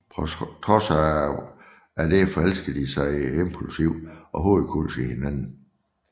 På trods af dette forelsker de sig impulsivt og hovedkulds i hinanden